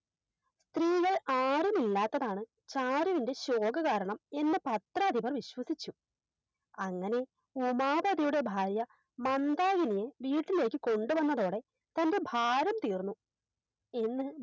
സ്ത്രീകൾ ആരുമില്ലാത്തതാണ് ചാരുവിന്റെ ശോകകാരണം എന്ന് പത്രാധിപൻ വിശ്വസിച്ചു അങ്ങനെ ഉമാപതിയുടെ ഭാര്യ മന്താകിനിയെ വീട്ടിലേക്ക് കൊണ്ടുവന്നതോടെ തൻറെ ഭാരം തീർന്നു എന്ന്